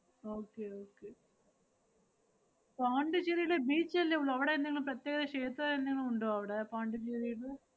okay okay പോണ്ടിച്ചേരില് beach അല്ലേ ഉള്ള്. അവടെ എന്തെങ്കിലും പ്രത്യേക ക്ഷേത്രം എന്തെങ്കിലും ഉണ്ടോ അവടെ പോണ്ടിച്ചേരില്?